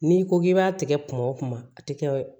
N'i ko k'i b'a tigɛ kuma o kuma a tɛ kɛ